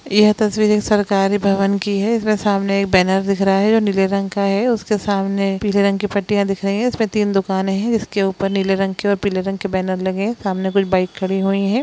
यह तस्वीर एक सरकारी भवन की है एकरा सामने एक बैनर दिख रहा है जो नीले रंग का है उसके सामने पीले रंग की पट्टियां दिख रही है इसमें तीन दुकाने है जिसके ऊपर नीले रंग की और पीले रंग के बैनर लगे है सामने कुछ बाइक खड़ी हुई है।